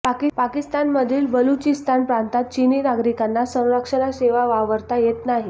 पाकिस्तानमधील बलुचिस्तान प्रांतात चिनी नागरिकांना संरक्षणाशिवाय वावरता येत नाही